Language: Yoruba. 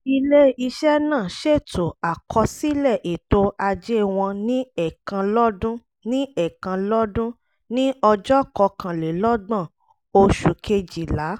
ilé-iṣẹ́ náà ṣètò àkọsílẹ̀ ètò ajé wọn ní ẹ̀ẹ̀kan lọ́dún ní ẹ̀ẹ̀kan lọ́dún ní ọjọ́ kọkànlélọ́gbọ̀n oṣù kejìlá